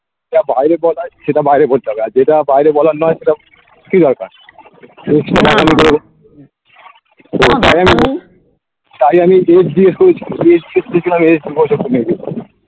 যেটা বাইরে বলা হয় সেটা বাইরে বলতে হবে আর যেটা বাইরে বলার নয় সেটা কি দরকার তাই আমি date দিয়ে